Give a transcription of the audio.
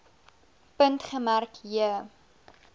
punt gemerk j